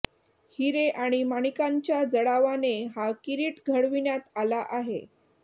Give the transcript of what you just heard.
हिरे आणि माणिकांच्या जडावाने हा किरीट घडविण्यात आला आहे